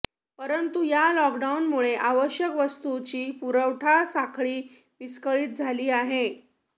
परंतु या लॉकडाऊनमुळे आवश्यक वस्तूंची पुरवठा साखळी विस्कळीत झाली आहे